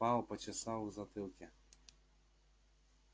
пауэлл почесал в затылке